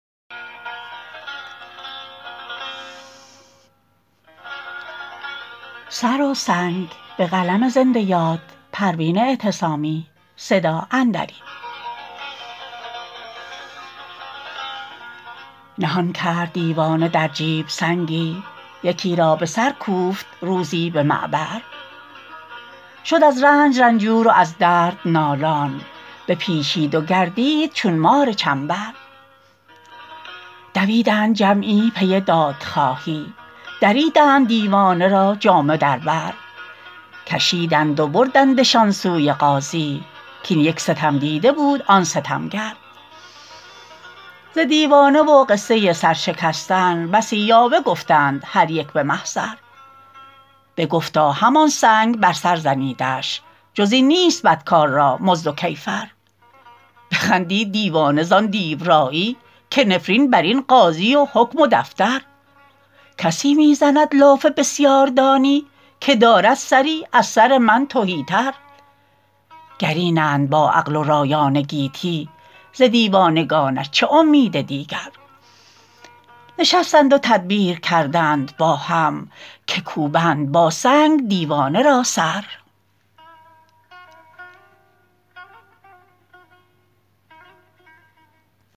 نهان کرد دیوانه در جیب سنگی یکی را بسر کوفت روزی بمعبر شد از رنج رنجور و از درد نالان بپیچید و گردید چون مار چنبر دویدند جمعی پی دادخواهی دریدند دیوانه را جامه در بر کشیدند و بردندشان سوی قاضی که این یک ستمدیده بود آن ستمگر ز دیوانه و قصه سر شکستن بسی یاوه گفتند هر یک بمحضر بگفتا همان سنگ بر سر زنیدش جز این نیست بدکار را مزد و کیفر بخندید دیوانه زان دیورایی که نفرین برین قاضی و حکم و دفتر کسی میزند لاف بسیار دانی که دارد سری از سر من تهی تر گر اینند با عقل و رایان گیتی ز دیوانگانش چه امید دیگر نشستند و تدبیر کردند با هم که کوبند با سنگ دیوانه را سر